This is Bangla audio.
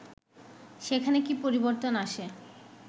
সেখানে কি পরিবর্তন আসে